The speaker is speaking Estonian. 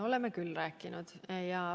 Oleme küll rääkinud.